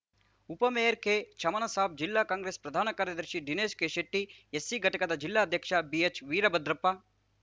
ಉಪ mayor K Chamansab ಜಿಲ್ಲಾ ಕಾಂಗ್ರೆಸ್‌ ಪ್ರಧಾನ ಕಾರ್ಯದರ್ಶಿ ದಿನೇಶ್ ಕೆಶೆಟ್ಟಿ ಎಸ್‌ಸಿ ಘಟಕದ ಜಿಲ್ಲಾಧ್ಯಕ್ಷ ಬಿಎಚ್‌ ವೀರಭದ್ರಪ್ಪ